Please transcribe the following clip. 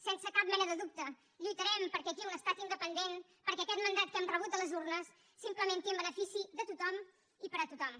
sense cap mena de dubte lluitarem perquè aquí un estat independent perquè aquest mandat que hem rebut de les urnes s’implementi en benefici de tothom i per a tothom